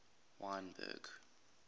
wynberg